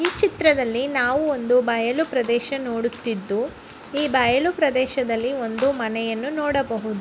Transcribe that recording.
ಈ ಚಿತ್ರದಲ್ಲಿ ನಾವು ಒಂದು ಬಯಲು ಪ್ರದೇಶವನ್ನು ನೋಡುತಿದ್ದು ಈ ಬಯಲು ಪ್ರದೇಶದಲ್ಲಿ ಒಂದು ಮನೆಯನ್ನು ನೋಡಬಹುದು.